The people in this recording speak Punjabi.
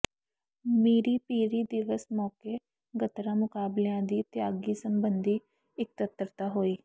ਮੀਰੀ ਪੀਰੀ ਦਿਵਸ ਮੌਕੇ ਗੱਤਕਾ ਮੁਕਾਬਲਿਆਂ ਦੀ ਤਿਆਰੀ ਸਬੰਧੀ ਇਕੱਤਰਤਾ ਹੋਈ